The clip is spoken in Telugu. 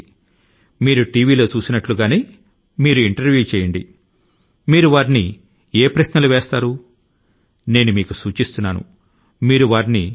జర్నలిస్టు లు టీవీ చానల్స్ లో ఇంటర్వ్యూ లు చేసినట్లుగా మీరు కూడా అటువంటి ఇంటర్వ్యూ చేసి దానిని మొబైల్ లో రికార్డ్ చేయండి